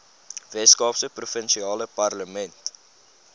weskaapse provinsiale parlement